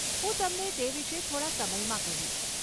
હું તમને તે વિષે થોડા સમયમાં કહીશ.